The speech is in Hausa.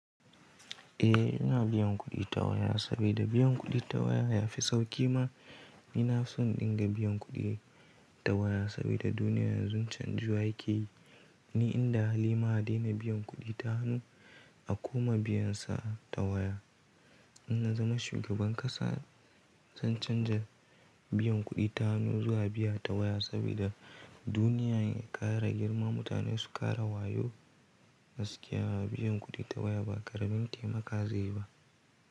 Eh, ina biyan kuɗi ta waya saboda biyan kuɗi ta waya yafi sauƙi ma. Ina son dinga biyan kuɗi ta waya sabida duniya yanzu canjiwa yake yi. Ni inda halima a daina biyan kuɗi ta hannu, a koma biyansa ta waya. In na zama shugaban ƙasa zan canza biyan kuɗi ta hannu zuwa biya ta waya saboda duniya ya ƙara girma, mutane su ƙara wayo gaskiya biyan kuɗi ta waya ba ƙaramin taimaka zai yi ba.